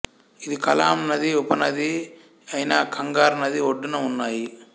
ఇది కలాం నది ఉపనది అయిన కంగార్ నది ఒడ్డున ఉన్నాయి